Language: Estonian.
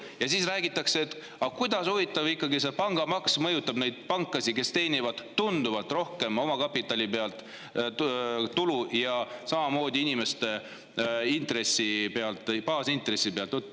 Ja siis räägitakse, et huvitav, kuidas ikkagi see pangamaks mõjutab neid pankasid, kes teenivad omakapitali pealt tunduvalt rohkem tulu ja samamoodi inimeste intressi pealt, baasintressi pealt.